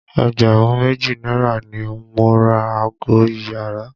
Ẹgbẹ̀rún méjì náírà ni mo ra ago iyàrá.